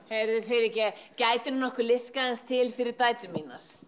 heyrðu fyrirgefðu gætirðu nokkuð liðkað aðeins til fyrir dætur mínar